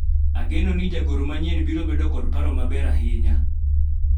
ageno ni jagoro manyien biro bedo kod paro maber ahinya